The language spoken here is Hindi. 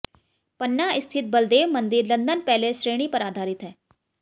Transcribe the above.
पन्ना स्थित बलदेव मंदिर लंदन पैलेस श्रेणी पर आधारित है